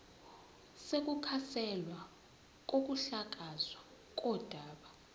sokukhanselwa kokuhlakazwa kodaba